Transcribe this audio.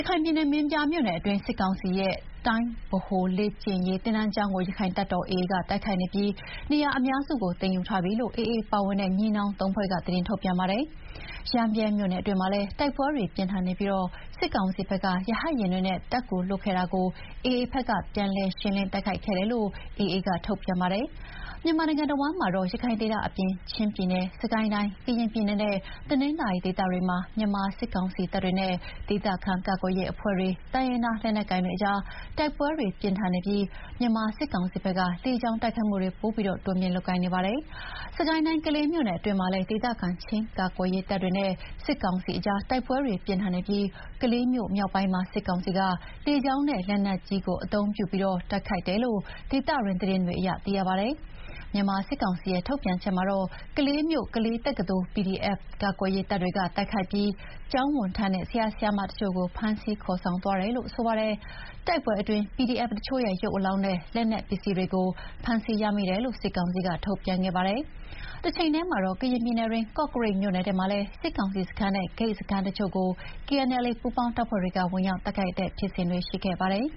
ရခိုင်ပြည်နယ် မင်းပြားမြို့နယ်တွင်းက စစ်ကောင်စီရဲ့ တိုင်းဗဟိုလေ့ကျင့်ရေးသင်တန်းကျောင်းကို ရခိုင်တပ်တော် AA က တိုက်ခိုက်နေပြီး နေရာအများစုကို သိမ်းယူထားပြီလို့ AA ပါဝင်တဲ့ ညီနောင်သုံးဖွဲ့က သတင်းထုတ်ပြန်ပါတယ်။ ရမ်းဗြဲမြို့နယ်တွင်းမှာလည်း တိုက်ပွဲတွေပြင်းထန်နေပြီး စစ်ကောင်စီဘက်က ရဟတ်ယဉ်တွေနဲ့ တပ်ကူလွှတ်ခဲ့တာကို AA ဘက်က ပြန်လည် ရှင်းလင်းတိုက်ခိုက်ခဲ့တယ်လို့ AA က ထုတ်ပြန်ပါတယ်။ မြန်မာနိုင်ငံတဝန်းမှာတော့ ရခိုင်ဒေသအပြင် ချင်းပြည်နယ်၊ စစ်ကိုင်းတိုင်း၊ ကရင်ပြည်နယ်နဲ့ တနင်္သာရီဒေသတွေမှာ မြန်မာစစ်ကောင်စီတပ်တွေနဲ့ ဒေသခံကာကွယ်ရေးအဖွဲ့တွေ တိုင်းရင်းသားလက်နက်ကိုင်တွေအကြား တိုက်ပွဲတွေ ပြင်းထန်နေပြီး မြန်မာစစ်ကောင်စီဘက်က လေကြောင်းတိုက်ခိုက်မှုကို ပိုပြီး တိုးမြှင့်နေပါတယ်။ စစ်ကိုင်းတိုင်း ကလေးမြို့နယ်အတွင်းမှာလည်း ဒေသခံ ချင်းကာကွယ်ရေးတပ်တွေနဲ့စစ်ကောင်စီကြား တိုက်ပွဲတွေပြင်းထန်နေပြီး ကလေးမြို့မြောက်ပိုင်းမှာ စစ်ကောင်စီက လေကြောင်းနဲ့လက်နက်ကြီးသုံးပြီး တိုက်ခိုက်တယ်လို့ ဒေသတွင်းသတင်းတွေအရ သိရပါတယ်။ မြန်မာစစ်ကောင်စီရဲ့ ထုတ်ပြန်ချက်မှာတော့ ကလေးမြို့ ကလေးတက္ကသိုလ်ကို PDF ကာကွယ်ရေးတပ်တွေက တိုက်ခိုက်ပြီး ကျောင်းဝန်ထမ်းနဲ့ ဆရာဆရာမတချို့ကို ဖမ်းဆီးခေါ်ဆောင်သွားတယ်လို့ ဆိုပါတယ်။ တိုက်ပွဲအတွင်း PDF တချို့ရဲ့ ရုပ်အလောင်းနဲ့ လက်နက်ပစ္စည်းတွေကို ဖမ်းဆီးရမိတယ်လို့ စစ်ကောင်စီက ထုတ်ပြန်ခဲ့ပါတယ်။ တချိန်တည်းမှာတော့ ကရင် ပြည်နယ်တွင်း ကော့ကရိတ်မြို့နယ်ထဲမှာလည်း စစ်ကောင်စီစခန်းနဲ့ ဂိတ်စခန်းတချို့ကို KNLA ပူးပေါင်းတပ်ဖွဲ့တွေက ဝင်ရောက်တိုက်ခိုက်တဲ့ဖြစ်စဉ်တွေ ရှိခဲ့ပါတယ်